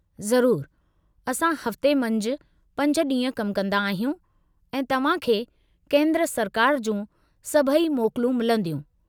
ज़रूरु, असां हफ़्ते मंझि 5 ॾींहं कम कंदा आहियूं ऐं तव्हां खे केंद्र सरकार जूं सभई मोकलूं मिलंदियूं।